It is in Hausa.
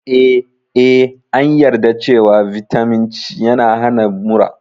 Eh, Ee, an yarda cewa Vitamin C yana hana mura.